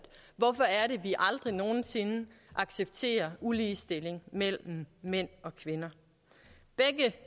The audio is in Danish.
hvorfor er det vi aldrig nogen sinde accepterer uligestilling mellem mænd og kvinder begge